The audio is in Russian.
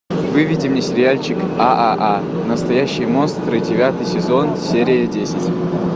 выведи мне сериальчик ааа настоящие монстры девятый сезон серия десять